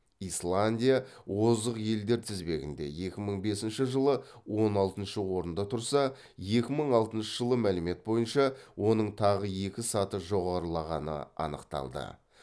исландия озық елдер тізбегінде екі мың бесінші жылы он алтыншы орында тұрса екі мың алтыншы жылы мәлімет бойынша оның тағы екі саты жоғарылағаны анықталды